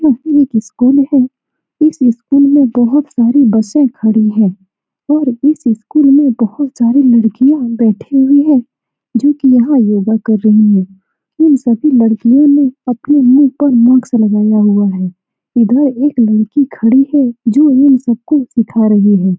यह एक स्कूल है इस स्कूल में बहुत सारी बसे खड़ी हैं और इस स्कूल में बहुत सारी लड़कियाँ बैठी हुई हैं जो की यहाँ यह वर्क कर रही है इन सभी लड़कियों ने अपने मुंह पर मास्क लगाया हुआ है इधर एक लड़की खड़ी है जो उन सबको सिखा रही है ।